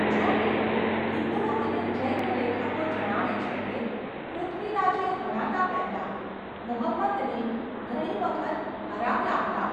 જો કે, હિંદુ અને જૈન લેખકો જણાવે છે કે પૃથ્વીરાજે હણાતાં પહેલા મુહમ્મદને ઘણી વખત હરાવ્યા હતા.